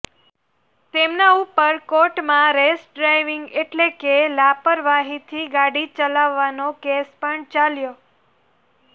તેમના ઉપર કોર્ટ માં રેશ ડ્રાઈવિંગ એટલે કે લાપરવાહી થી ગાડી ચલાવવાનો કેસ પણ ચાલ્યો